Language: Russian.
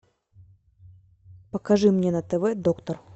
покажи мне на тв доктор